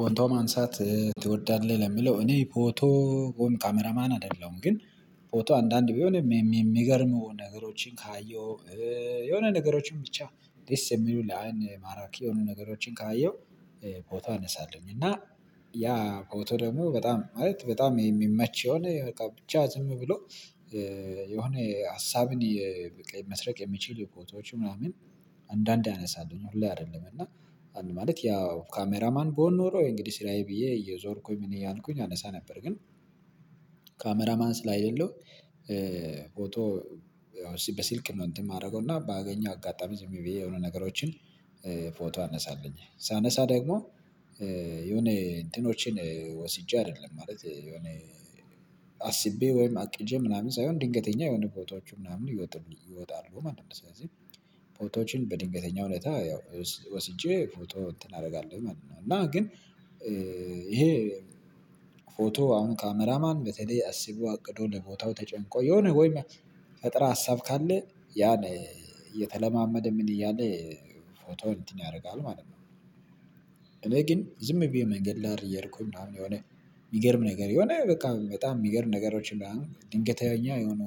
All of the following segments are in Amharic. ፎቶ ማንሳት ትወዳለህ? ለሚለው እኔ ፎቶ ወይም ካሜራማን አይደለሁም። ግን ፎቶ አንዳንድ ቢሆንም የሚገርመው ነገሮችን ካየሁ፤ የሆነ ነገሮችን ብቻ ደስ የሚሉ ለአይን ማራኪ የሆኑ ነገሮችን ካየሁ ፎቶ አነሳለሁኝ። እና ያ ፎቀቶ ደግሞ በጣም ማለት በጣም የሚመች የሆነ በቃ ብቻ ዝም ብሎ የሆነ ሀሳብን መስረቅ የሚችል ፎቶዎች ምናምን አንዳንዴ አነሳለሁኝ ሁሌ አይደለም። እና አንድ ማለት ያው ካሜራማን ብሆን ኖሮ እንግዲህ ስራዬ ብዬ እየዞርኩኝ ምን እያልኩኝ አነሳ ነበር። ግን ካሜራማን ስላይደለሁ ፎቶ ያው በስልክ ነው እንትን የማደርገው እና ባገኘው አጋጣሚ ዝም ብዬ የሆነ ነገሮችን ፎቶ አነሳለኘ ሳነሳ ደግሞ የሆነ እንትኖችን ወስጄ አይደለም ማለት የሆነ አስቤ ወይም አቅጄ ምናምን ሳይሆን ድንገተኛ የሆነ ፎቶዎቹ ምናምን ይወጣሉ ማለት ነው። ስለዚህ ፎቶዎችን በድንገተኛ ሁኔታ ያው ወስጄ ፎቶ እንትን አደርጋለሁ ማለት ነው እና ግን ይሄ ፎቶ አሁን ካሜራማን በተለይ አስቦ አቅዶ ለቦታው ተጨንቆ የሆነ ወይም ፈጠራ ሀሳብ ካለ ያን እየተለማመደ ምን እያለ ፎቶ እንትን ያደርጋል ማለት ነው። እኔ ግን ዝም ብዬ መንገድ ላይ እየሄድኩኝ አሁን የሆነ የሚገርም ነገር የሆነ በቃ በጣም የሚገርም ነገሮችን ድንገተኛ የሆኑ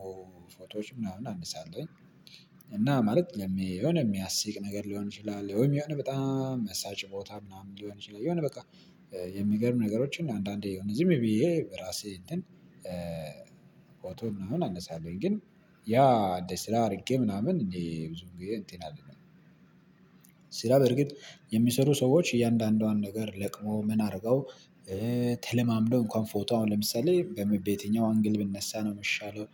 ፎቶዎች ምናምን አንሳለሁኝ። እና ማለት የሆነ የሚያስቅ ነገር ሊሆን ይችላል ወይም የሆነ በጣም መሳጭ ቦታ ምናምን ሊሆን ይችላል የሆነ በቃ የሚገርም ነገሮችን አንዳንዴ ዝም ብዬ ራሴ እንትን ፎቶ ምናምን አነሳለሁ። ግን ያ እንደ ስራ አድርጌ ምናምን እንዴ ብዙም ግዜ እንትን አልልም። ስራ በእርግጥ የሚሰሩ ሰዎች እያንዳንዷን ነገር ለቅመው ምን አድርገው ተለማምደው እንኳን ፎቶ አሁን ለምሳሌ በምን የትኛው አንግል ብነሳ ነው የሚሻለው?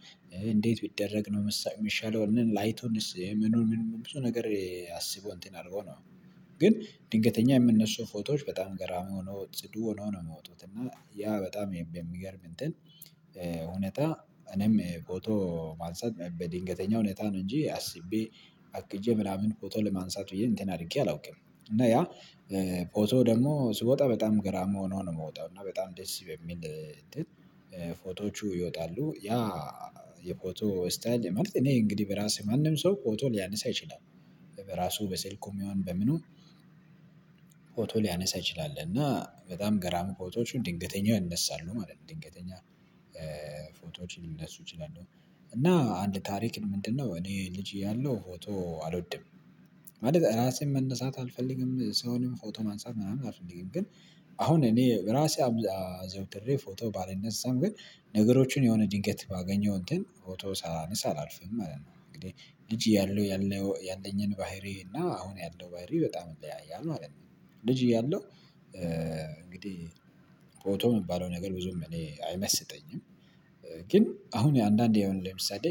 እንዴት ቢደረግ ነው የሚሻለው? ላይቱንስ ምኑን ምኑን ብዙ ነገር አስበው እንትን አድርገው ነው። ግን ድንገተኛ የሚነሱ ፎቶዎች በጣም ገራሚ ሆነው ጽዱ ሆነው ነው የሚወጡት እና ያ በጣም የሚገርም እንትን ሁኔታ እኔም ፎቶ ማንሳት በድንገተኛ ሁኔታ ነው እንጂ አስቤ አቅጄ ምናምን ፎቶ ለማንሳት ብዬ እንትን አድርጌ አላውቅም። እና ያ ፎቶ ደግሞ ሲወጣ በጣም ገራሚ ሆኖ ነው የሚወጣው እና በጣም ደስ በሚል ፎቶዎቹ ይወጣሉ ያ የፎቶ ስታይል ማለት እኔ እንግዲህ በራሴ ማንም ሰው ፎቶ ሊያነሳ ይችላል። በራሱ በስልኩም ይሆን በምኑ ፎቶ ሊያነሳ ይችላል እና በጣም ገራሚ ፎቶዎችም ድንገተኛ ይነሳሉ ማለት ነው። ድንገተኛ ፎቶዎችን ሊነሱ ይችላሉ። እና አንድ ታሪክ ምንድነው እኔ ልጅ እያለሁ ፎቶ አልወድም። ማለት ራሴም መነሳት አልፈልግም ሰውንም ፎቶ ማንሳት ምናምን አልፈልግም ግን አሁን እኔ ራሴ አዘውትሬ ፎቶ ባልነሳም ግን ነገሮችን የሆነ ድንገት ባገኘው እንትን ፎቶ ሳላነሳ አላልፍም ማለት ነው። እንግዲህ ልጅ እያለሁ ያለኝን ባህሪዬ እና አሁን ያለው ባህሪ በጣም ይለያያል ማለት ነው። ልጅ እያለሁ እንግዲህ ፎቶ የሚባለው ነገር ብዙም እኔ አይመስጠኝም ግን አሁን አንዳንዴ አሁን ለምሳሌ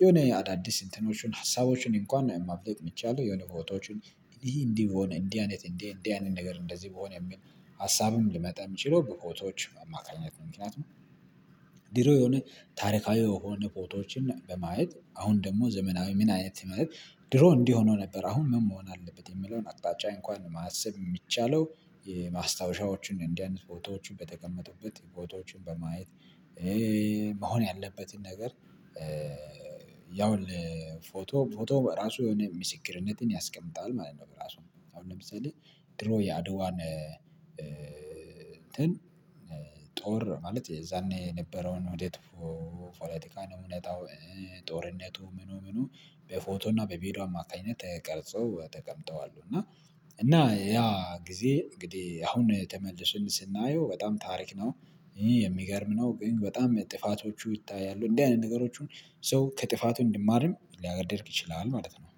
የሆነ አዳዲስ እንትኖችን ሀሳቦችን እንኳን ማፍለቅ የሚቻለው የሆነ ፎቶዎችን ይሄ እንዲህ ከሆነ እንዲህ አይነት እንዲህ እንዲህ አይነት ነገር እንደዚህ በሆነ የሚል ሀሳብም ሊመጣ የሚችለው በፎቶዎች ማካኘት ምክንያት ነው ድሮ የሆነ ታሪካዊ የሆኑ ፎቶዎችን በማየት አሁን ደግሞ ዘመናዊ ምን አይነት ማለት ድሮ እንዲህ ሆኖ ነበር አሁን ምን መሆን አለበት የሚለውን አቅጣጫ እንኳን ማሰብ የሚቻለው የማስታወሻዎችን እንዲ አይነት ፎቶዎችን በተቀመጡበት ቦታዎችን በማየት መሆን ያለበትን ነገር ያው ለፎቶ ፎቶ በራሱ የሆነ ምስክርነትን ያስቀምጣል ማለት ነው በራሱ። አሁን ለምሳሌ ድሮ የአድዋን እንትን ጦር ማለት የዛኔ የነበረውን ሂደት ፖለቲካ ነው እውነታው ጦርነቱ ምኑ ምኑ በፎቶ እና በቪዲዮ አማካኝነት ተቀርጸው ተቀምጠው አሉ እና እና ያ ጊዜ እንግዲህ አሁን ተመልሰን ስናየው በጣም ታሪክ ነው የሚገርም ነው ግን በጣም ጥፋቶቹ ይታያሉ። እንዲህ አይነት ነገሮቹን ሰው ከጥፋቱ እንዲማርም ሊያደርግ ይችላል ማለት ነው